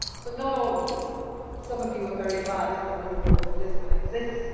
But not all of you some of you are very glad that the rule book of Lisbon exists.